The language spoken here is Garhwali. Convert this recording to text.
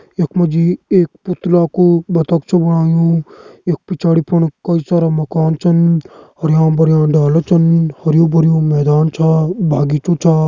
यख मा जी एक पुतला कू बतक छ बणायु यख पिछाड़ी फण कई सारा मकान छन हरयां भरयां डाला छन हरयूं भर्यूं मैदान छा बगीचु छा।